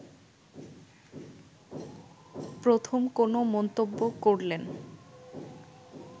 প্রথম কোন মন্তব্য করলেন